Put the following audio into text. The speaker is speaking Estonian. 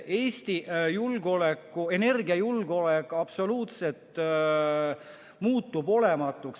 Eesti energiajulgeolek muutub absoluutselt olematuks.